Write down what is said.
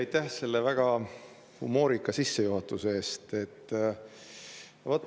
Aitäh selle väga humoorika sissejuhatuse eest!